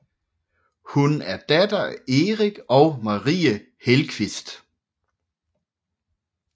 Hun er datter af Erik og Marie Hellqvist